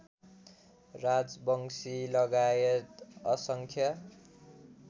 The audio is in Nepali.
राजवंशी लगायत असंख्य